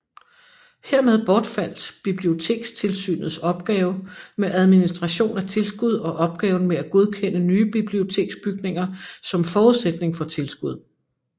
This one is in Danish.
Hermed bortfald Bibliotekstilsynets opgave med administration af tilskud og opgaven med at godkende nye biblioteksbygninger som forudsætning for tilskud